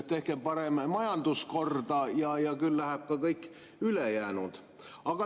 Tehke parem majandus korda ja küll saab korda ka kõik ülejäänu.